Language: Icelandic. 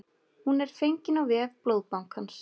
Hún er fengin á vef blóðbankans